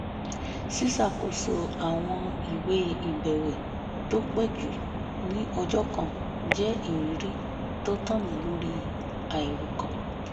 ṣíṣàkóso àwọn ìwé ìbẹ̀wẹ́ tó pé jù ní ọjọ́ kan jẹ́ ìrírí tó tàn mí lórí àìròkan